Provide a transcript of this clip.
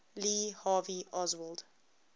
lee harvey oswald